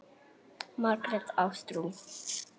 Margrét Ástrún.